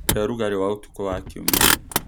He ũrugarĩ wa ũtukũ wa Kiumia.